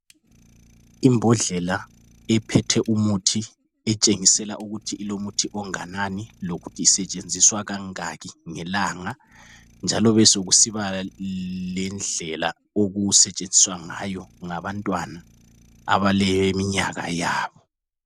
Ibhondlela iphethe umuthi itshengisela ukuthi ilomuthi onganani lokuthi isetshenziswa kangaki ngelanga njalo kubesokusiba lendlela okusetshenziswa ngayo ngabantwana abaleminyaka yabo.